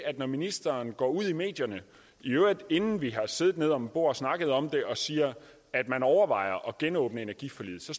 når ministeren går ud i medierne i øvrigt inden vi har siddet om bordet og snakket om det og siger at man overvejer at genåbne energiforliget så